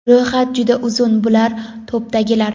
Ro‘yxat juda uzun, bular topdagilar.